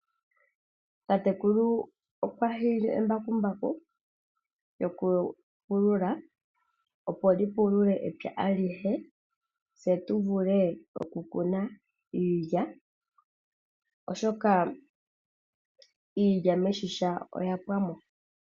Tatekulu okwa hiile embakumbaku lyoku pulula, opo li pulule epya alihe tse tu vule oku kuna iilya, oshoka iilya meshisha oya pwamo.